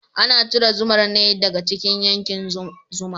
Ana cire zumar ne daga cikin kyankin zuma.